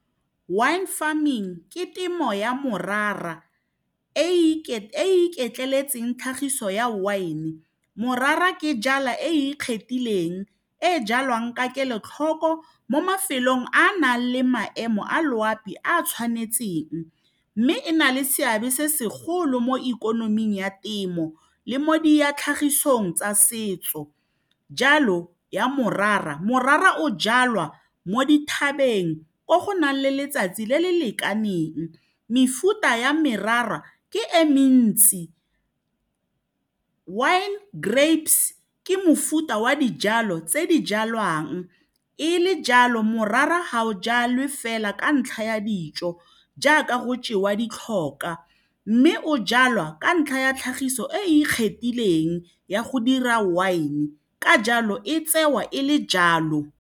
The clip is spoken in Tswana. Wine farming ke temo ya morara e iketleletseng tlhagiso ya wine morara ke jala e ikgethileng e e jalwang ka kelotlhoko mo mafelong a a nang le maemo a loapi a tshwanetseng mme e na le seabe se segolo mo ikonoming ya temo le mo di tlhagisong tsa setso jalo ya morara morara o jalwa mo dithabeng ko go nang le letsatsi le le lekaneng mefuta ya merara ke e mentsi wine grapes ke mofuta wa dijalo tse di jalwang e le jalo morara ga o jelwe fela ka ntlha ya dijo jaaka go jewa ditlhokwa mme o jalwa ka ntlha ya tlhagiso e ikgethileng ya go dira wine ka jalo e tsewa e le jalo.